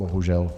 Bohužel.